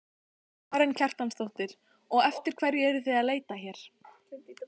Karen Kjartansdóttir: Og eftir hverju eruð þið að leita hér?